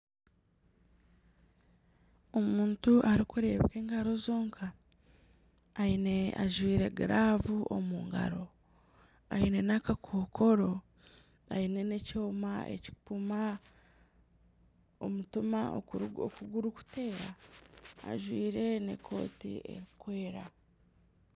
Omuntu arikureebeka engaro zonka ajwaire giravu omu ngaro aine n'akakokoro aine n'ekyoma ekikumpima omutima okugurikuteera ajwaire n'ekooti erikwera.